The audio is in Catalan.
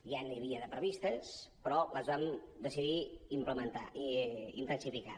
ja n’hi havia de previstes però les vam decidir intensificar